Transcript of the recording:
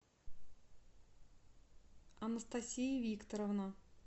анастасия викторовна